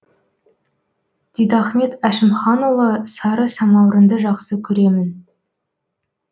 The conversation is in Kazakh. дидахмет әшімханұлы сары самаурынды жақсы көремін